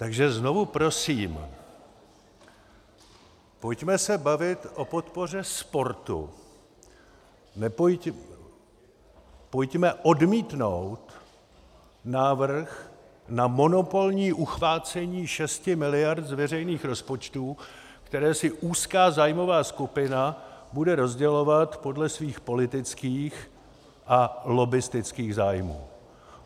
Takže znovu prosím, pojďme se bavit o podpoře sportu, pojďme odmítnout návrh na monopolní uchvácení šesti miliard z veřejných rozpočtů, které si úzká zájmová skupina bude rozdělovat podle svých politických a lobbistických zájmů.